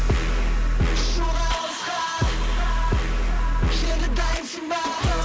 ұшуға алысқа енді дайынсың ба